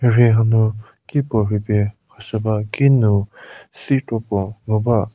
mhirhi hanu ki ko rhupie khashüba ki nu sei kropuo nguba.